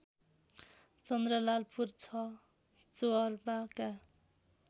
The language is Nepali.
चन्द्रलालपुर ६ चोहर्वाका